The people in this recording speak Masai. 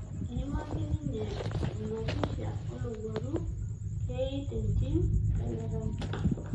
Eimaki ninye ena pisha olowuaru kei tentim Elerai.